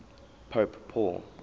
pope paul